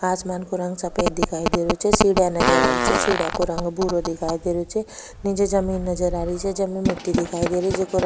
आसमान को रंग सफ़ेद दिखाई दे रो छे सीढिया नजर आ री छे सीढिया को रंग भूरो दिखाई दे रो छे निचे जमीन नजर आ री छे जमीं में मिट्टी दिखाई दे रही छे।